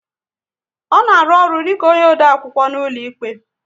Ọ na arụ ọrụ dịka onye odeakwụkwọ n'ụlọikpe?